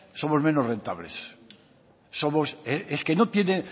somos menos rentables es que